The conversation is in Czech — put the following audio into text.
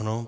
Ano.